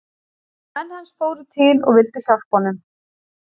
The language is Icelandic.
Menn hans fóru til og vildu hjálpa honum.